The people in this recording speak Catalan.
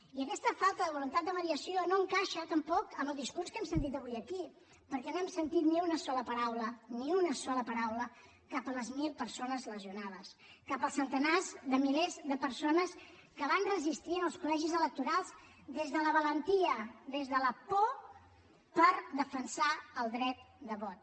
i aquesta falta de voluntat de mediació no encaixa tampoc amb el discurs que hem sentit avui aquí perquè no hem sentit ni una sola paraula ni una sola paraula cap a les mil persones lesionades cap als centenars de milers de persones que van resistir en els col·legis electorals des de la valentia des de la por per defensar el dret de vot